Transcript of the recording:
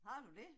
Har du det?